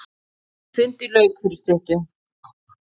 Fundi lauk fyrir stuttu.